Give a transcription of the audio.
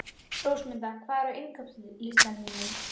Rósmunda, hvað er á innkaupalistanum mínum?